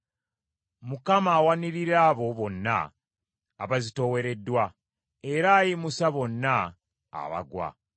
Mukama awanirira abo bonna abazitoowereddwa, era ayimusa bonna abagwa.